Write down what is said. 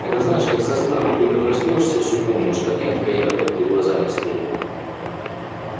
это знаешь как со сна вот только проснёшься всё помнишь и картина такая яркая перед глазами стоит